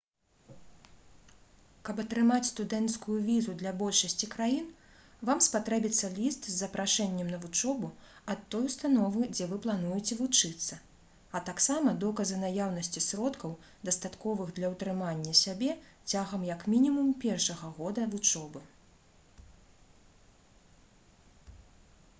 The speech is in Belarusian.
каб атрымаць студэнцкую візу для большасці краін вам спатрэбіцца ліст з запрашэннем на вучобу ад той установы дзе вы плануеце вучыцца а таксама доказы наяўнасці сродкаў дастатковых для ўтрымання сябе цягам як мінімум першага года вучобы